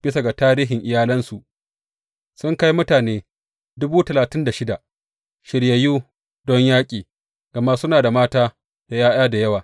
Bisa ga tarihin iyalinsu, sun kai mutane dubu talatin da shida shiryayyu don yaƙi, gama suna da mata da ’ya’ya da yawa.